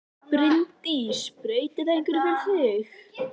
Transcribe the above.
Bryndís: Breytir þetta einhverju fyrir þig?